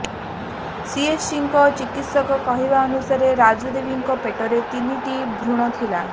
ସିଏଚସିର ଚିକିତ୍ସକଙ୍କ କହିବାନୁସାରେ ରାଜୁଦେବୀଙ୍କ ପେଟରେ ତିନିଟି ଭୃଣ ଥିଲା